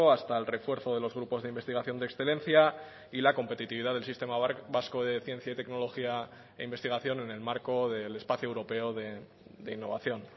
hasta el refuerzo de los grupos de investigación de excelencia y la competitividad del sistema vasco de ciencia y tecnología e investigación en el marco del espacio europeo de innovación